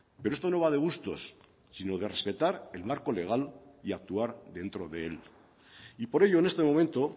pero esto no va de gustos sino de respetar el marco legal y actuar dentro de él y por ello en este momento